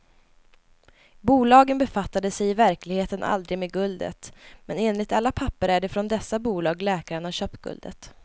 Bolagen befattade sig i verkligheten aldrig med guldet, men enligt alla papper är det från dessa bolag läkaren har köpt guldet.